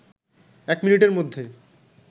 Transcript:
১ মিনিটের মধ্যে